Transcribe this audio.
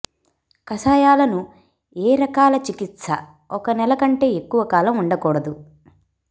కషాయాలను ఏ రకాల చికిత్స ఒక నెల కంటే ఎక్కువ కాలం ఉండకూడదు